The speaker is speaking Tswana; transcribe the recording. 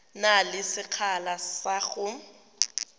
na le sekgala sa go